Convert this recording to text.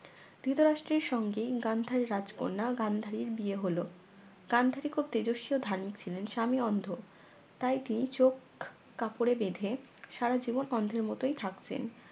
ধৃতরাষ্ট্রের সঙ্গে গান্ধার রাজ কন্যা গান্ধারির বিয়ে হল গান্ধারী খুব তেজস্বী ও ধার্মিক ছিলেন স্বামী অন্ধ তাই তিনি চোখ কাপড়ে বেঁধে সারা জীবন অন্ধের মতই থাকলেন